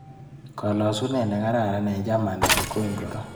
Kalasunet nekararan eng chamanet ko ingoro.